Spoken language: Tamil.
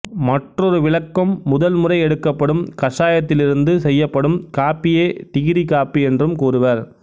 மற்றொரு விளக்கம் முதல் முறை எடுக்கப்படும் கஷாயத்திலிருந்து செய்யப்படும் காப்பியே டிகிரி காப்பி என்றும் கூறுவா்